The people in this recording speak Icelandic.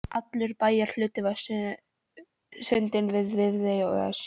Allur bæjarhlutinn við sundin með Viðey og Esju